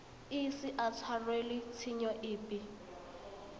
ise a tshwarelwe tshenyo epe